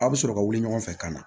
Aw bɛ sɔrɔ ka wuli ɲɔgɔn fɛ ka na